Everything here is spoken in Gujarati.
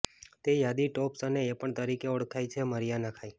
તે યાદી ટોપ્સ અને એ પણ તરીકે ઓળખાય છે મરિઆના ખાઈ